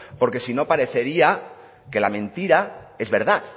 porque si no parecería que la mentira es verdad